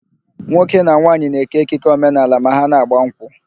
Nwoke na nwaanyị na-ékè ekike omenaala ma ha na-ágbà nkwụ.